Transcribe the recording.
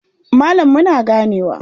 Malam muna ganewa.